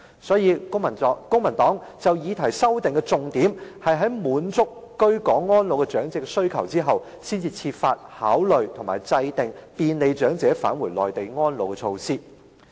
所以，公民黨就議案提出的修訂重點是，應該要先滿足居港安老長者的需求，然後才考慮制訂便利長者返回內地安老的措施。